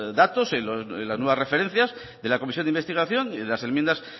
datos las nuevas referencias de la comisión de investigación y las enmiendas